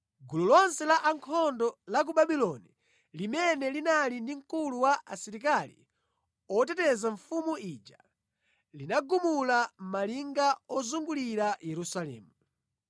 Gulu lonse la ankhondo la ku Babuloni limene linali ndi mkulu wa asilikali oteteza mfumu ija, linagumula malinga ozungulira Yerusalemu.